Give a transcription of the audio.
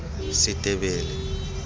setebele